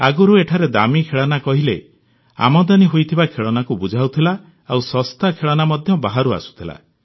ଆଗରୁ ଏଠାରେ ଦାମୀ ଖେଳନା କହିଲେ ଆମଦାନୀ ହୋଇଥିବା ଖେଳଣାକୁ ବୁଝାଉଥିଲା ଆଉ ଶସ୍ତା ଖେଳନା ମଧ୍ୟ ବାହାରୁ ଆସୁଥିଲା